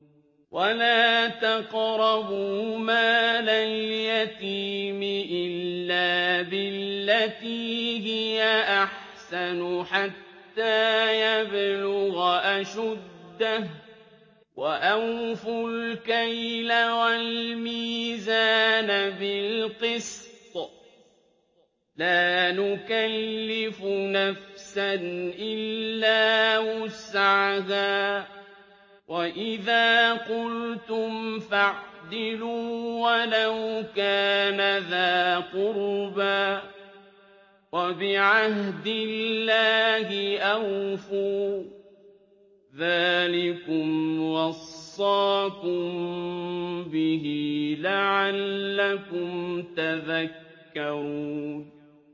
وَلَا تَقْرَبُوا مَالَ الْيَتِيمِ إِلَّا بِالَّتِي هِيَ أَحْسَنُ حَتَّىٰ يَبْلُغَ أَشُدَّهُ ۖ وَأَوْفُوا الْكَيْلَ وَالْمِيزَانَ بِالْقِسْطِ ۖ لَا نُكَلِّفُ نَفْسًا إِلَّا وُسْعَهَا ۖ وَإِذَا قُلْتُمْ فَاعْدِلُوا وَلَوْ كَانَ ذَا قُرْبَىٰ ۖ وَبِعَهْدِ اللَّهِ أَوْفُوا ۚ ذَٰلِكُمْ وَصَّاكُم بِهِ لَعَلَّكُمْ تَذَكَّرُونَ